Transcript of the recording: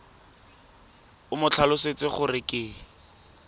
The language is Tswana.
o mo tlhalosetse gore ke